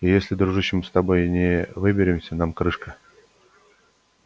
и если дружище мы с тобой не выберемся нам крышка